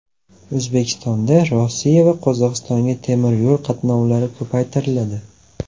O‘zbekistondan Rossiya va Qozog‘istonga temiryo‘l qatnovlari ko‘paytiriladi.